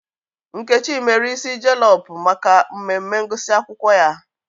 Nkechi mere ịsị jelọp maka mmemme ngụsị akwụkwọ ya